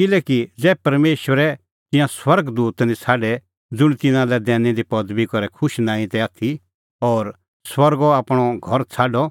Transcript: किल्हैकि ज़ै परमेशरै तिंयां स्वर्ग दूत निं छ़ाडै ज़ुंण तिन्नां लै दैनी दी पदबी करै खुश नांईं तै आथी और स्वर्गो आपणअ घर छ़ाडअ